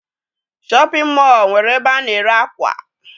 Shọpịn mọọ nwere ebe a na-ere ákwà.